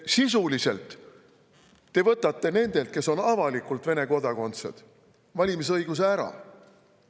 Sisuliselt te võtate nendelt, kes on avalikult Vene kodakondsed, valimisõiguse ära.